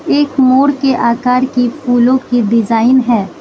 एक मोर के आकार की फूलों की डिजाइन है।